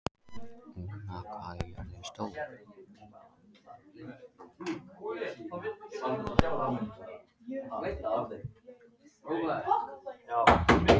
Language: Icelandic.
Úna, hvað er jörðin stór?